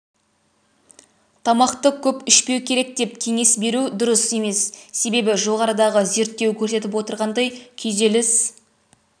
тамақты көп ішпеу керек деп кеңес беру дұрыс емес себебі жоғарыдағы зерттеу көрсетіп отырғандай күйзеліс